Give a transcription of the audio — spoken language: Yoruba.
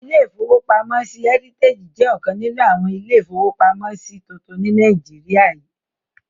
Ilé-ìfowópamọ́sí Heritage jẹ́ ọ̀kan nínú àwọn ilé-ìfowópamọ́sí tuntun ní Nàìjíríyà